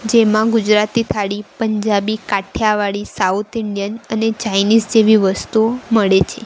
જેમાં Gujarati thali Punjabi Kathiawadi south Indian અને Chinese જેવી વસ્તુઓ મળે છે.